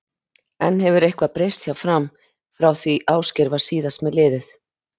En hefur eitthvað breyst hjá Fram frá því Ásgeir var síðast með liðið?